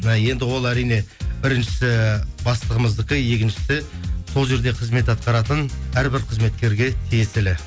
і енді ол әрине бірінші бастығымыздікі екіншісі сол жерде қызмет атқаратын әрбір қызметкерге тиесілі